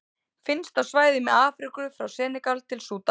Finnst á svæðum í Afríku frá Senegal til Súdan.